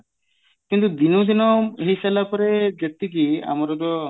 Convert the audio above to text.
କିନ୍ତୁ ଦିନକୁ ଦିନ ହେଇ ସାରିଲା ପରେ ଯେତିକି ଆମର ଯୋଉ